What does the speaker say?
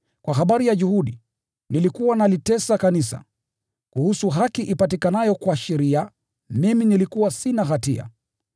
kwa habari ya juhudi, nilikuwa nalitesa kanisa, kuhusu haki ipatikanayo kwa sheria, mimi nilikuwa sina hatia.